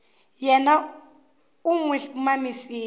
yena u n wi mamisa